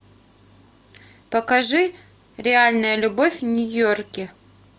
покажи реальная любовь в нью йорке